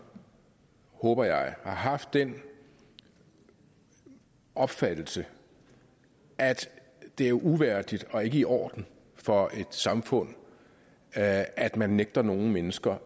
håber jeg haft den opfattelse at det er uværdigt og ikke i orden for et samfund at at man nægter nogle mennesker